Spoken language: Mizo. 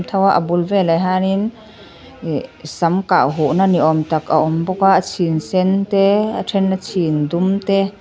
a bul velah hianin ih sam kah huhna ni awm tak a awm bawk a a chhin sen te a then a chhin dum te.